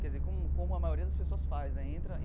Quer dizer, como como a maioria das pessoas faz, né?